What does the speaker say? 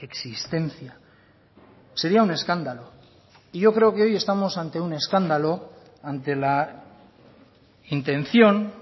existencia sería un escándalo y yo creo que hoy estamos ante un escándalo ante la intención